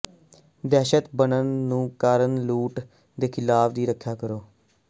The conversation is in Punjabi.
ਦਹਿਸ਼ਤ ਬਟਨ ਨੂੰ ਕਾਰਨ ਲੁੱਟ ਦੇ ਖਿਲਾਫ ਦੀ ਰੱਖਿਆ ਕਰੋ